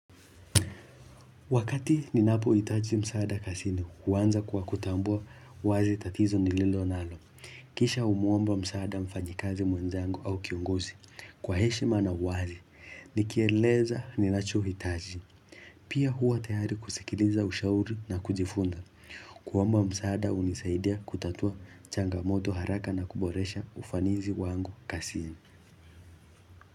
Wakati ninapoitaji msaada kasini, uanza kwa kutambua wazi tatizo nililonalo. Kisha umwomba msaada mfanyikazi mwenzangu au kiongozi. Kwa heshima na uwazi, nikieleza ninachohitaji. Pia huwa tayari kusikiliza ushauri na kujifunda. Kuomba msaada hunisaidia kutatua changamoto haraka na kuboresha ufanizi wangu kasini.